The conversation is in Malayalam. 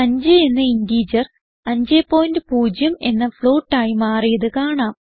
5 എന്ന ഇന്റിജർ 50 എന്ന ഫ്ലോട്ട് ആയി മാറിയത് കാണാം